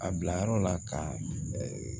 A bila yɔrɔ la ka